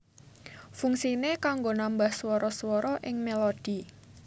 Fungsiné kanggo nambah swara swara ing melodi